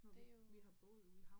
Det jo